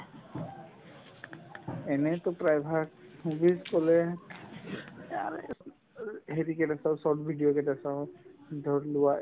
এনেইতো প্ৰায়ভাগ movies ক'লে হেৰি কেইটা চাওঁ short video কেইটা চাওঁ ধৰিলোৱা